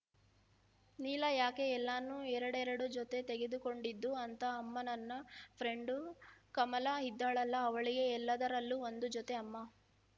ನೀಲ ಯಾಕೆ ಎಲ್ಲಾನು ಎರಡೆರಡು ಜೊತೆ ತೆಗೆದುಕೊಂಡಿದ್ದು ಅಂತ ಅಮ್ಮ ನನ್ನ ಫ್ರೆಂಡು ಕಮಲ ಇದ್ದಾಳಲ್ಲಾ ಅವಳಿಗೆ ಎಲ್ಲದರಲ್ಲೂ ಒಂದು ಜೊತೆ ಅಮ್ಮ